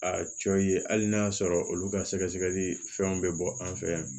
A cɔ ye hali n'a sɔrɔ olu ka sɛgɛsɛli fɛnw be bɔ an fɛ yan